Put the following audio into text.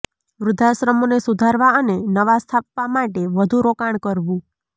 વૃદ્ધાશ્રમોને સુધારવા અને નવા સ્થાપવા માટે વધુ રોકાણ કરવું